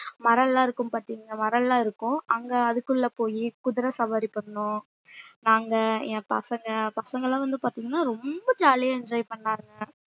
மரம்லாம் இருக்கும் பார்த்தீங்களா மரம் எல்லாம் இருக்கும் அங்க அதுக்குள்ள போயி குதிரை சவாரி பண்ணோம் நாங்க என் பசங்க பசங்க எல்லாம் வந்து பார்த்தீங்கன்னா ரொம்ப jolly ஆ enjoy பண்ணானுங்க